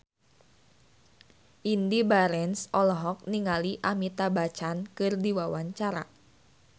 Indy Barens olohok ningali Amitabh Bachchan keur diwawancara